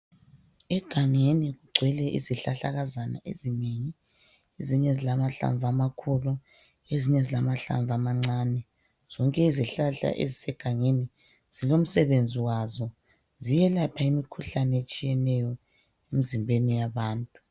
Egangeni kugcwele izihlahlakazana ezinengi. Ezinye zilamahlamvu amakhulu ezinye zilamahlamvu amancane . Zonke izihlahla ezisegangeni zilomsebenzi wazo ziyelapha imikhuhlane etshiyeneyo emzimbeni yabantu.